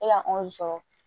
E ka sɔrɔ